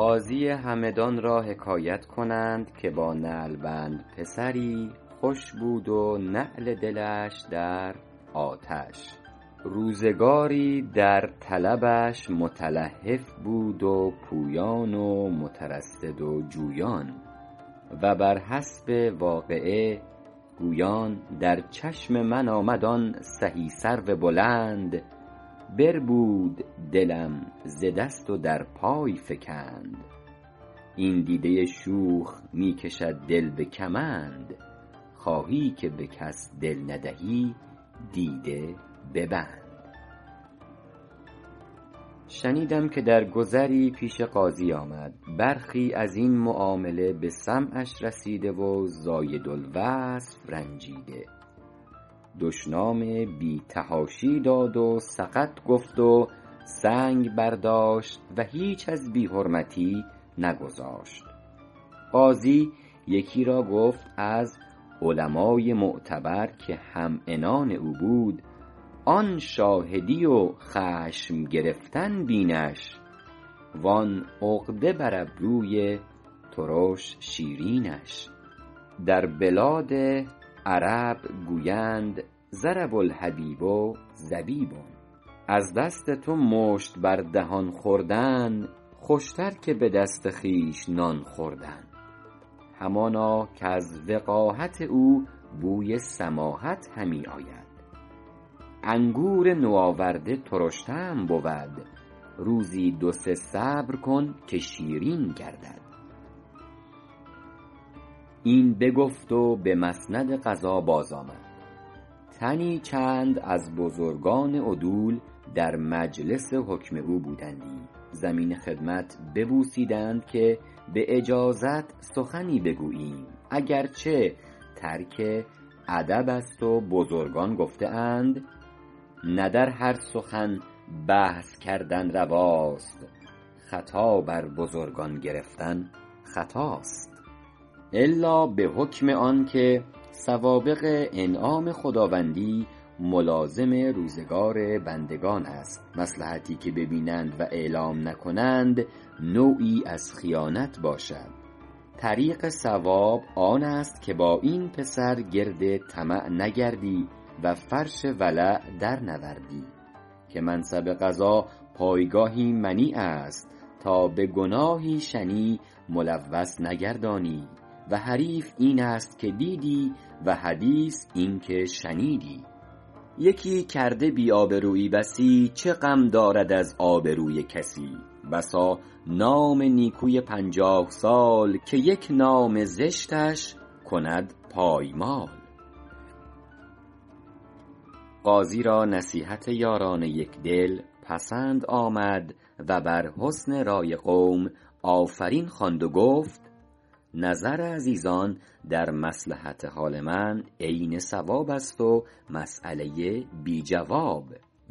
قاضی همدان را حکایت کنند که با نعلبند پسری سر خوش بود و نعل دلش در آتش روزگاری در طلبش متلهف بود و پویان و مترصد و جویان و بر حسب واقعه گویان در چشم من آمد آن سهی سرو بلند بربود دلم ز دست و در پای فکند این دیده شوخ می کشد دل به کمند خواهی که به کس دل ندهی دیده ببند شنیدم که در گذری پیش قاضی آمد برخی از این معامله به سمعش رسیده و زایدالوصف رنجیده دشنام بی تحاشی داد و سقط گفت و سنگ برداشت و هیچ از بی حرمتی نگذاشت قاضی یکی را گفت از علمای معتبر که هم عنان او بود آن شاهدی و خشم گرفتن بینش و آن عقده بر ابروی ترش شیرینش در بلاد عرب گویند ضرب الحبیب زبیب از دست تو مشت بر دهان خوردن خوش تر که به دست خویش نان خوردن همانا کز وقاحت او بوی سماحت همی آید انگور نوآورده ترش طعم بود روزی دو سه صبر کن که شیرین گردد این بگفت و به مسند قضا باز آمد تنی چند از بزرگان عدول در مجلس حکم او بودندی زمین خدمت ببوسیدند که به اجازت سخنی بگوییم اگر چه ترک ادب است و بزرگان گفته اند نه در هر سخن بحث کردن رواست خطا بر بزرگان گرفتن خطاست الا به حکم آن که سوابق انعام خداوندی ملازم روزگار بندگان است مصلحتی که بینند و اعلام نکنند نوعی از خیانت باشد طریق صواب آن است که با این پسر گرد طمع نگردی و فرش ولع در نوردی که منصب قضا پایگاهی منیع است تا به گناهی شنیع ملوث نگردانی و حریف این است که دیدی و حدیث این که شنیدی یکی کرده بی آبرویی بسی چه غم دارد از آبروی کسی بسا نام نیکوی پنجاه سال که یک نام زشتش کند پایمال قاضی را نصیحت یاران یکدل پسند آمد و بر حسن رای قوم آفرین خواند و گفت نظر عزیزان در مصلحت حال من عین صواب است و مسیله بی جواب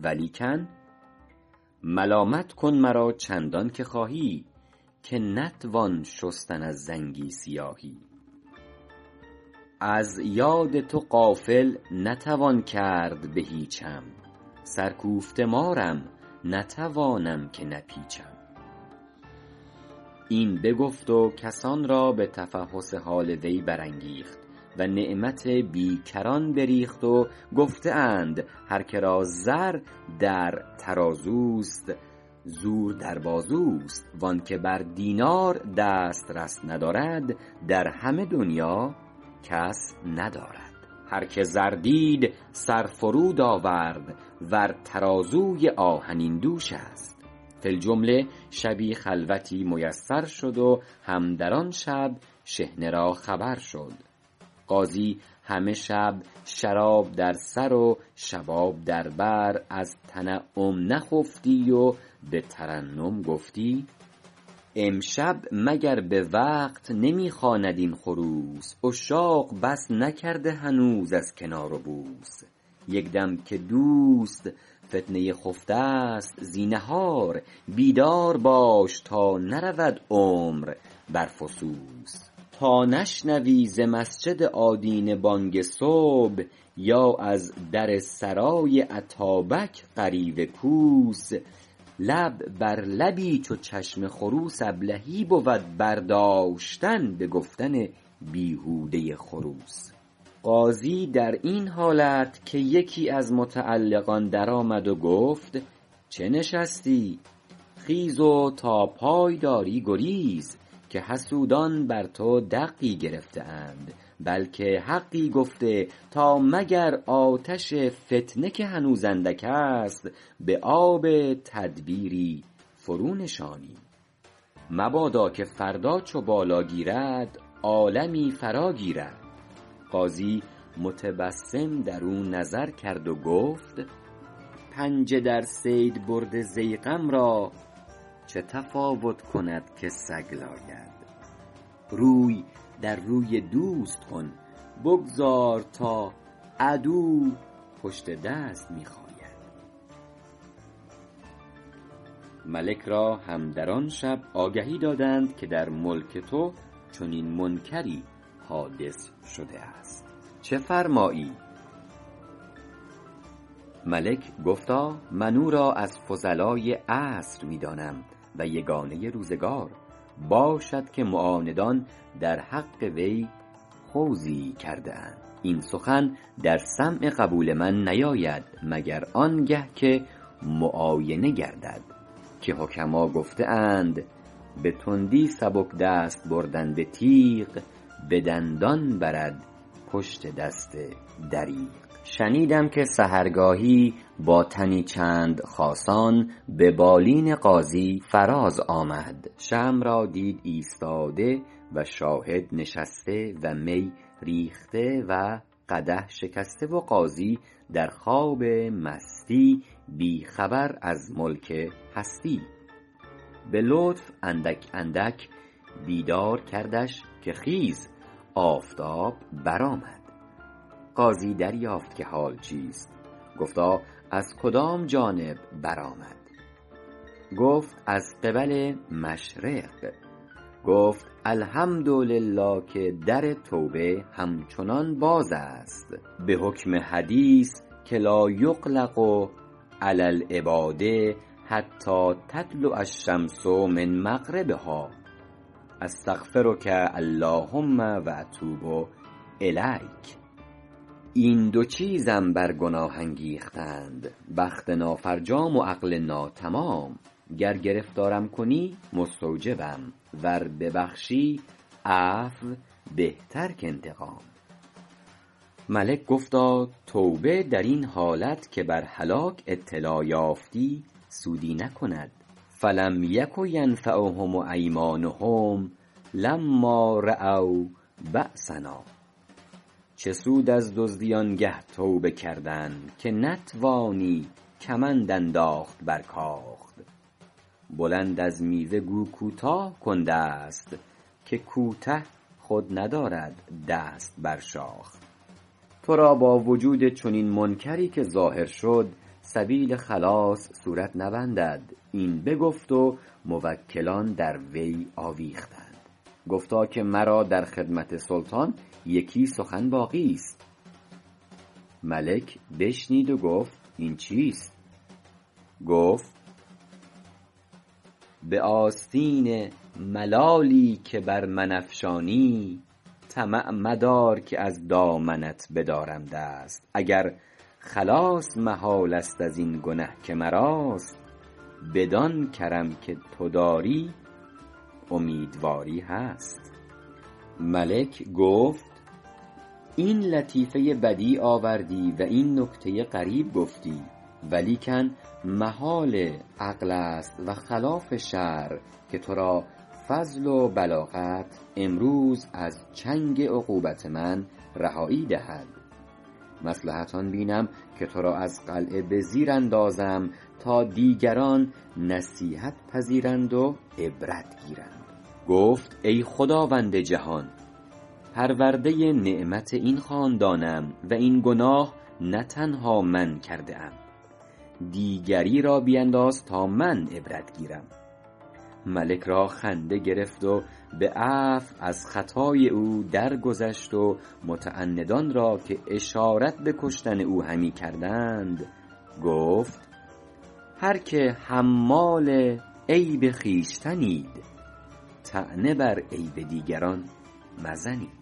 ولیکن ملامت کن مرا چندان که خواهی که نتوان شستن از زنگی سیاهی از یاد تو غافل نتوان کرد به هیچم سر کوفته مارم نتوانم که نپیچم این بگفت و کسان را به تفحص حال وی برانگیخت و نعمت بیکران بریخت و گفته اند هر که را زر در ترازوست زور در بازوست و آن که بر دینار دسترس ندارد در همه دنیا کس ندارد هر که زر دید سر فرو آورد ور ترازوی آهنین دوش است فی الجمله شبی خلوتی میسر شد و هم در آن شب شحنه را خبر شد قاضی همه شب شراب در سر و شباب در بر از تنعم نخفتی و به ترنم گفتی امشب مگر به وقت نمی خواند این خروس عشاق بس نکرده هنوز از کنار و بوس یک دم که دوست فتنه خفته است زینهار بیدار باش تا نرود عمر بر فسوس تا نشنوی ز مسجد آدینه بانگ صبح یا از در سرای اتابک غریو کوس لب بر لبی چو چشم خروس ابلهی بود برداشتن به گفتن بیهوده خروس قاضی در این حالت که یکی از متعلقان در آمد و گفت چه نشستی خیز و تا پای داری گریز که حسودان بر تو دقی گرفته اند بلکه حقی گفته تا مگر آتش فتنه که هنوز اندک است به آب تدبیری فرو نشانیم مبادا که فردا چو بالا گیرد عالمی فرا گیرد قاضی متبسم در او نظر کرد و گفت پنجه در صید برده ضیغم را چه تفاوت کند که سگ لاید روی در روی دوست کن بگذار تا عدو پشت دست می خاید ملک را هم در آن شب آگهی دادند که در ملک تو چنین منکری حادث شده است چه فرمایی ملک گفتا من او را از فضلای عصر می دانم و یگانه روزگار باشد که معاندان در حق وی خوضی کرده اند این سخن در سمع قبول من نیاید مگر آنگه که معاینه گردد که حکما گفته اند به تندی سبک دست بردن به تیغ به دندان برد پشت دست دریغ شنیدم که سحرگاهی با تنی چند خاصان به بالین قاضی فراز آمد شمع را دید ایستاده و شاهد نشسته و می ریخته و قدح شکسته و قاضی در خواب مستی بی خبر از ملک هستی به لطف اندک اندک بیدار کردش که خیز آفتاب برآمد قاضی دریافت که حال چیست گفتا از کدام جانب برآمد گفت از قبل مشرق گفت الحمد لله که در توبه همچنان باز است به حکم حدیث که لایغلق علی العباد حتی تطلع الشمس من مغربها استغفرک اللهم و اتوب الیک این دو چیزم بر گناه انگیختند بخت نافرجام و عقل ناتمام گر گرفتارم کنی مستوجبم ور ببخشی عفو بهتر کانتقام ملک گفتا توبه در این حالت که بر هلاک اطلاع یافتی سودی نکند فلم یک ینفعهم ایمانهم لما رأوا بأسنا چه سود از دزدی آنگه توبه کردن که نتوانی کمند انداخت بر کاخ بلند از میوه گو کوتاه کن دست که کوته خود ندارد دست بر شاخ تو را با وجود چنین منکری که ظاهر شد سبیل خلاص صورت نبندد این بگفت و موکلان در وی آویختند گفتا که مرا در خدمت سلطان یکی سخن باقی ست ملک بشنید و گفت این چیست گفت به آستین ملالی که بر من افشانی طمع مدار که از دامنت بدارم دست اگر خلاص محال است از این گنه که مراست بدان کرم که تو داری امیدواری هست ملک گفت این لطیفه بدیع آوردی و این نکته غریب گفتی ولیکن محال عقل است و خلاف شرع که تو را فضل و بلاغت امروز از چنگ عقوبت من رهایی دهد مصلحت آن بینم که تو را از قلعه به زیر اندازم تا دیگران نصیحت پذیرند و عبرت گیرند گفت ای خداوند جهان پرورده نعمت این خاندانم و این گناه نه تنها من کرده ام دیگری را بینداز تا من عبرت گیرم ملک را خنده گرفت و به عفو از خطای او در گذشت و متعندان را که اشارت به کشتن او همی کردند گفت هر که حمال عیب خویشتنید طعنه بر عیب دیگران مزنید